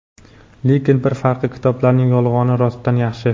lekin bir farqi kitoblarning yolg‘oni rostdan yaxshi.